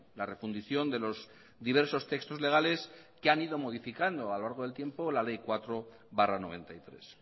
la refundición de los diversos textos legales que han ido modificando a lo largo del tiempo la ley cuatro barra mil novecientos noventa y tres